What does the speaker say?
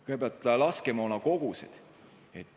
Kõigepealt laskemoonakogustest.